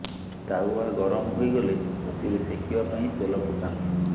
ତାଓ୍ବା ଗରମ ହୋଇଗଲେ ସେଥିରେ ସେକିବା ପାଇଁ ତେଲ ପକାନ୍ତୁ